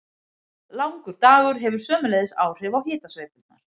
Langur dagur hefur sömuleiðis áhrif á hitasveiflurnar.